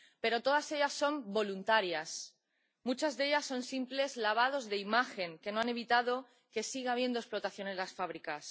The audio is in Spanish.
pero todas ellas son voluntarias, muchas de ellas son simples lavados de imagen que no han evitado que siga habiendo explotación en las fábricas.